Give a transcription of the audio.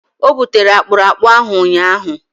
O butere akpụrakpụ ahụ ụnyahụ.